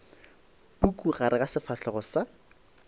puku gare ga sefahlego sa